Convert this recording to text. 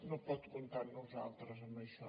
no pot comptar amb nosaltres en això